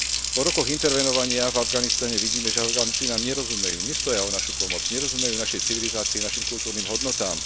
Po rokoch intervenovania v Afganistane vidíme, že Afganci nám nerozumejú, nestoja o našu pomoc, nerozumejú našej civilizácii, našim kultúrnym hodnotám.